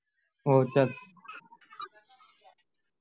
હોવ ચાલ